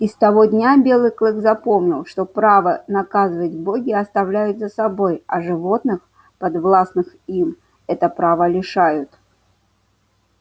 и с того дня белый клык запомнил что право наказывать боги оставляют за собой а животных подвластных им это право лишают